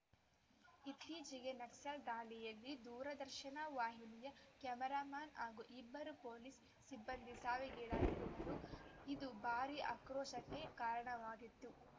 ಇತ್ತೀಚೆಗೆ ನಕ್ಸಲ್‌ ದಾಳಿಯಲ್ಲಿ ದೂರದರ್ಶನ ವಾಹಿನಿಯ ಕ್ಯಾಮರಾಮನ್‌ ಹಾಗೂ ಇಬ್ಬರು ಪೊಲೀಸ್‌ ಸಿಬ್ಬಂದಿ ಸಾವಿಗೀಡಾಗಿದ್ದರು ಇದು ಭಾರೀ ಆಕ್ರೋಶಕ್ಕೆ ಕಾರಣವಾಗಿತ್ತು